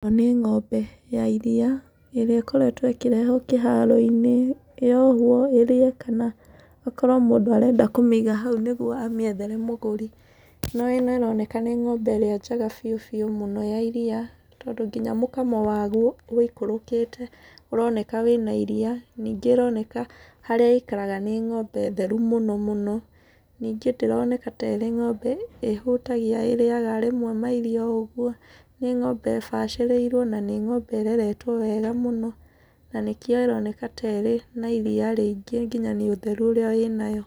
ĩno nĩ ng'ombe ya iriia ĩrĩa ĩkoretwo ĩkĩrehwo kĩharo-inĩ, yohwo ĩrĩe kana akorwo mũndũ arenda kũmĩiga hau nĩguo amĩethere mũgũri. No ĩno ĩroneka nĩ ng'ombe ĩrĩa njega biũ biũ mũno ya iriia tondũ ngina mũkamo waguo wũikũrũkĩte ũroneka wĩna iriia. Nĩngĩ ĩroneka harĩa ĩikaraga nĩ ng'ombe theru mũno mũno. Ningĩ ndĩroneka tarĩ ng'ombe ĩhũtagia, ĩrĩaga rĩmwe mairio o ũguo, nĩ ng'ombe ĩbacĩrĩirwo na nĩ ng'ombe ĩreretwo wega mũno na nĩkĩo ĩroneka ta ĩrĩ na iriia rĩingĩ ngina nĩ ũtheru ũrĩa wĩnayo.